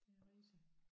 Det rigtig